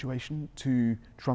og ýmsum svona